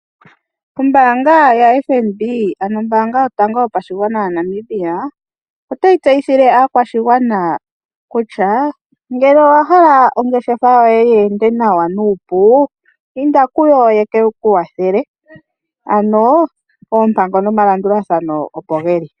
Ombaanga ya FNB ano ombaanga yotango yopashingwana yaNamibia, otayi tseyithile aakwashingwana kutya ngele owahala ongeshefa yoye yeende nawa nuupu indakuyo yekekuwathele, ano oompango nomalandulathano opogeli.